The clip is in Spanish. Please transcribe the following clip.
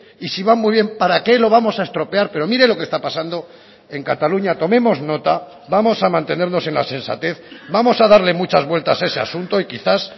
y si van muy bien para qué lo vamos a estropear pero mire lo que está pasando en cataluña tomemos nota vamos a mantenernos en la sensatez vamos a darle muchas vueltas a ese asunto y quizás